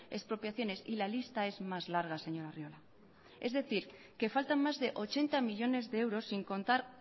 expropiaciones y la lista es más larga señor arriola es decir que faltan más de ochenta millónes de euros sin contar